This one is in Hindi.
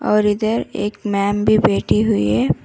और इधर एक मैम भी बैठी हुई है।